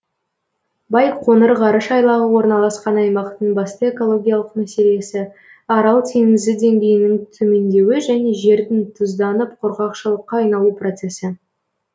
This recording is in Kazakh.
байқоңыр ғарыш айлағы орналасқан аймақтың басты экологиялық мәселесі арал теңізі деңгейінің төмендеуі және жердің тұзданып құрғақшылыққа айналу процесі